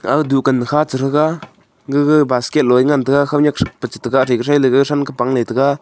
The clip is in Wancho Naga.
a dukan che che ga gaga basket loi ngan tai ga khaw nyak pa che tega athe ga then te pangle che tega.